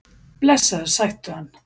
Blessaður, sæktu hann.